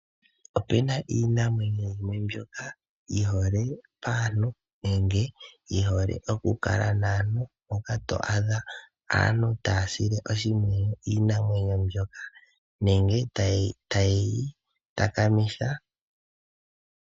Opuna iinamwenyo yimwe mbyoka yihole paantu nenge yihole okukala naantu, mpoka to adha aantu taya sile oshimpwiyu iinamwenyo mbyoka nenge taye yi takamitha.